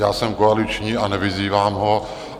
Já jsem koaliční a nevyzývám ho.